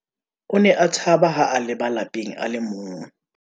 o ne a tshaba ha a leba lapeng a le mong